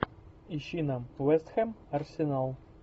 ищи нам вест хэм арсенал